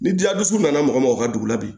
Ni dila dusu nana mɔgɔ ma o ka dugu la bi